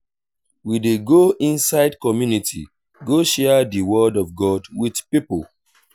we dey go inside community go share di word of god wit pipo.